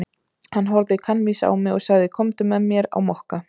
Hann horfði kankvís á mig og sagði: Komdu með mér á Mokka.